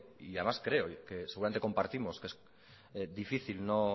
y además creo que seguramente compartimos que es difícil no